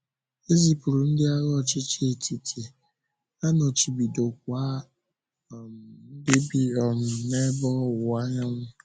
E zịpụrụ ndị agha ọchịchị etiti, a nọchibidokwa um ndị bi um n’Ébe Ọwụwa Anyanwụ.